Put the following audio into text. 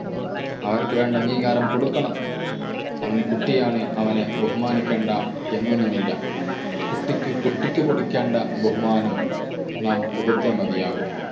അവർക്ക് വേണ്ട അംഗീകാരം കൊടുക്കണം. അവൻ കുട്ടിയാണ് അവനെ ബഹുമാനിക്കേണ്ട എന്നൊന്നും ഇല്ല. കുട്ടിക്ക് കുട്ടിക്ക് കൊടുക്കേണ്ട ബഹുമാനം നാം കൊടുത്തേ മതിയാകു.